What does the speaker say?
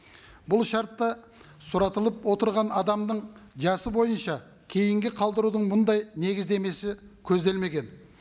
бұл шартта сұратылып отырған адамның жасы бойынша кейінге қалдырудың мұндай негіздемесі көзделмеген